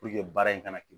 baara in ka na kɛ